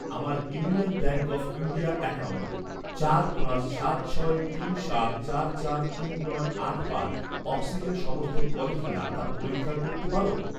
আমার union bank of India account চার পাঁচ সাত ছয় তিন সাত চার চার তিন নয় আট পাঁচ অক্সিজেন সমর্থন করে কিনা তা পরীক্ষা করতে পার?